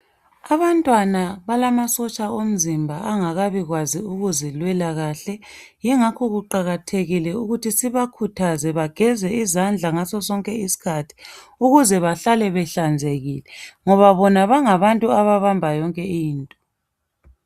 Abantwana balomasotsha omzimba angakabi kwazi ukuzilwela kahle yingakho kuqakathekile ukuthi sibakhuthaze bageze izandla ngasosonke iskhathi ukuze bahlole behlanzekile ngoba bona bangabantu ababamba yonke into.